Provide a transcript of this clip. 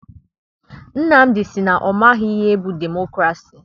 Nnamdị sị na ọ maghị ihe bụ demokrasi.